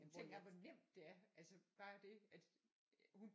Jamen tænk engang hvor nemt det er altså bare det at hun